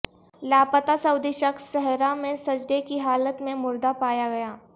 لاپتہ سعودی شخص صحرا میں سجدے کی حالت میں مردہ پایا گیا